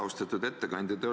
Austatud ettekandja!